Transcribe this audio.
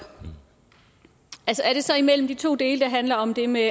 er det så imellem de to dele der handler om det med